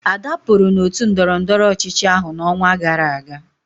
Ada pụrụ n'otu ndọrọndọrọ ọchịchị ahụ n'ọnwa gara aga